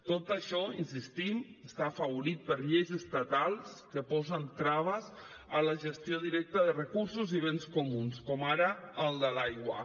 tot això insistim està afavorit per lleis estatals que posen traves a la gestió directa de recursos i béns comuns com ara el de l’aigua